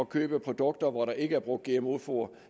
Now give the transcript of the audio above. købe produkter hvor der ikke er brugt gmo foder